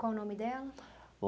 Qual o nome dela?